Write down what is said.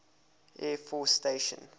air force station